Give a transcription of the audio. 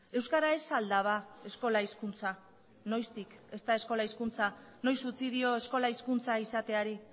euskara ez al da ba eskola hizkuntza noiztik ez da eskola hizkuntza noiz utzi dio eskola hizkuntza izateari